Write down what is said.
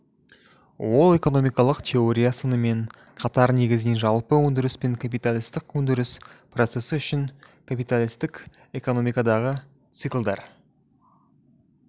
ол экономикалық теория сынымен қатар негізінен жалпы өндіріс пен капиталистік өндіріс процесі үшін капиталистік экономикадағы циклдар